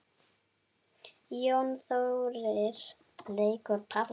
Jónas Þórir leikur á píanó.